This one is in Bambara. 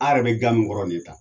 A yɛrɛ bɛ ga min kɔrɔ nin ye ta